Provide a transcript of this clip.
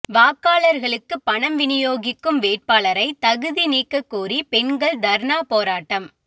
வாக்காளர்களுக்கு பணம் விநியோகிக்கும் வேட்பாளரை தகுதி நீக்க கோரி பெண்கள் தர்ணா போராட்டம்